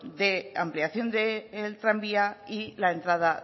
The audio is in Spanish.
de ampliación del tranvía y la entrada